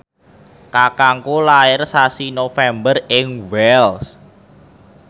kakangku lair sasi November ing Wells